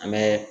An bɛ